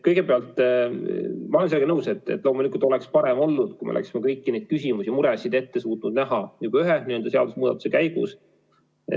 Kõigepealt, ma olen nõus, et loomulikult oleks parem olnud, kui me oleksime kõiki neid küsimusi ja muresid ette suutnud näha juba ühe seadusemuudatuse käigus.